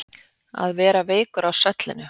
Að vera veikur á svellinu